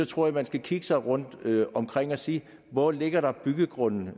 tror at man skal kigge sig omkring og sige hvor ligger der byggegrunde